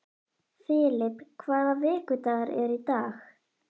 Filip, hvaða vikudagur er í dag?